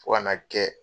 Fo ka n'a kɛ